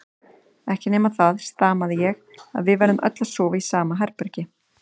Ekki nema það, stamaði ég, að við verðum öll að sofa í sama herbergi.